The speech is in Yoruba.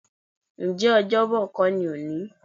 Ǹjẹ́ Ọ́jọ́bọ̀ kó ni òní?